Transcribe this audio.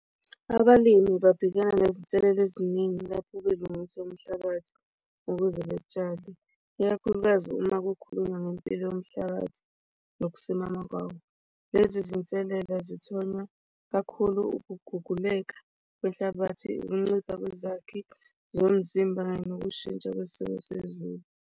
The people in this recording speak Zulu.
Abalimi babhekana nezinselelo eziningi lapho belungise umhlabathi ukuze betshale ikakhulukazi uma kukhulunywa ngempilo yomhlabathi nokusimama kwawo. Lezi zinselela zithonywa kakhulu ukuguguleka kwenhlabathi, ukuncipha kwezakhi zomzimba kanye nokushintsha kwesimo sezulu.